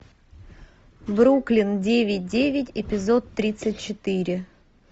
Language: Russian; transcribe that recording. бруклин девять девять эпизод тридцать четыре